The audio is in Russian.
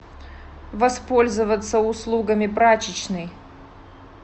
воспользоваться услугами прачечной